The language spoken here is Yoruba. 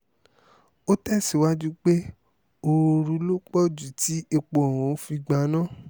ó tẹ̀síwájú pé ooru ló pọ̀ ju tí epo ọ̀hún fi gbaná